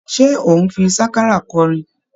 Ṣé ò ń fi sákárà kọrin?